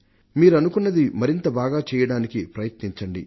మీరనుకున్నది మరింత బాగా చెయ్యడానికి ప్రయత్నించండి